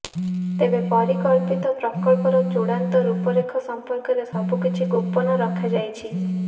ତେବେ ପରିକଳ୍ପିତ ପ୍ରକଳ୍ପର ଚୂଡ଼ାନ୍ତ ରୂପରେଖ ସମ୍ପର୍କରେ ସବୁକିଛି ଗୋପନ ରଖାଯାଇଛି